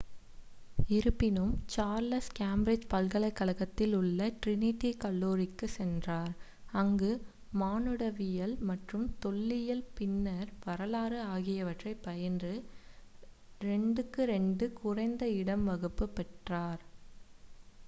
இருப்பினும் Charles Cambridge பல்கலைக் கழகத்தில் உள்ள டிரினிட்டி கல்லூரிக்குச் சென்றார் அங்கு மானுடவியல் மற்றும் தொல்லியல் பின்னர் வரலாறு ஆகியவற்றைப் பயின்று 2: 2 குறைந்த இரண்டாம் வகுப்பு பட்டம் பெற்றார்